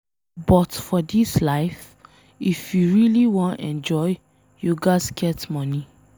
But for dis life, if you really wan enjoy you ghas get money.